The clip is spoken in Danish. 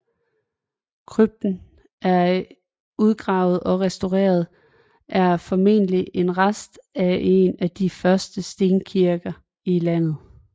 Krypten der er udgravet og restaureret er formentlig en rest af en af de første stenkirker i landet